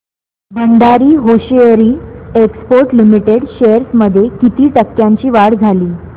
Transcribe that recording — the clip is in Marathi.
Bhandari hosiery exports limited shares मध्ये किती टक्क्यांची वाढ झाली